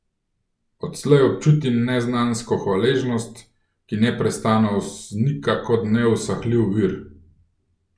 Odslej občutim neznansko hvaležnost, ki neprestano vznika kot neusahljiv vir.